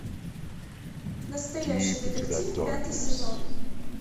настоящий детектив пятый сезон